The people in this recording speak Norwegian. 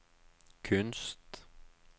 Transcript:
kunst